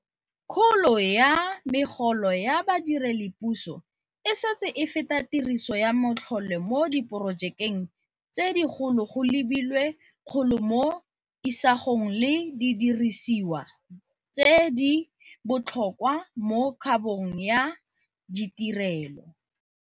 Kgolo ya megolo ya badiredipuso e setse e feta tiriso ya matlole mo diporojekeng tse digolo go lebilwe kgolo mo isagong le didirisiwa tse di botlhokwa mo kabong ya ditirelo.